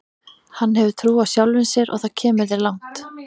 Hann hefur trú á sjálfum sér og það kemur þér langt.